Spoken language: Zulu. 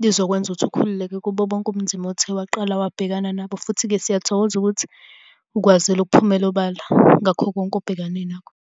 lizokwenza ukuthi ukhululeke kubo bonke ubunzima othe waqala wabhekana nabo, futhi-ke siyathokoza ukuthi ukwazile ukuphumela obala ngakho konke obhekane nakho.